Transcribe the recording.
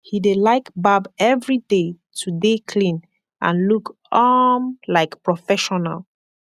he dey laik barb evryday to dey klin and look um laik profeshonal